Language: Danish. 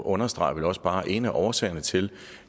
understreger vel også bare at en af årsagerne til